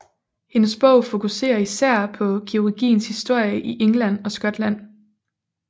Hendes bog fokuserer især på kirurgiens historie i England og Skotland